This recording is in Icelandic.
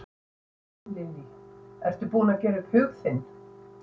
Lillý: Ertu búinn að gera upp hug þinn?